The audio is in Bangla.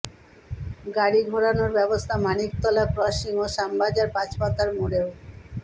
গাড়ি ঘোরানোর ব্যবস্থা মানিকতলা ক্রসিং ও শ্যামবাজার পাঁচমাথার মোড়েও